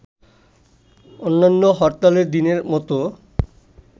অন্যান্য হরতালের দিনের মত